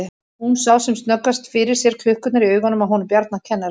Hún sá sem snöggvast fyrir sér klukkurnar í augunum á honum Bjarna kennara.